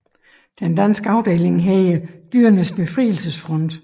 Den danske afdeling hedder Dyrenes Befrielsesfront